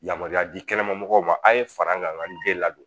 Yamaruya di kɛnɛmamɔgɔ ma an ye fara an kan an ka nden ladon